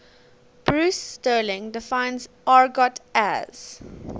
bruce sterling defines argot as